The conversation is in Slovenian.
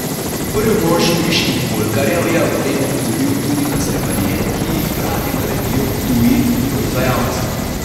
Prvi mož briških oljkarjev je ob tem opozoril tudi na sleparije, ki jih radi naredijo tuji proizvajalci.